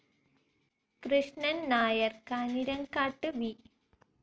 Krishnan Nair Kanjirakkat, V.